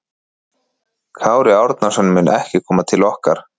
Kári Árnason mun ekki koma til okkar.